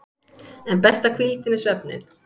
En besta hvíldin er svefninn.